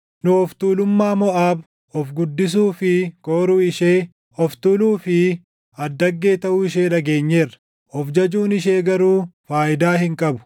Nu of tuulummaa Moʼaab, of guddisuu fi kooruu ishee, of tuuluu fi addaggee taʼuu ishee dhageenyeerra; of jajuun ishee garuu faayidaa hin qabu.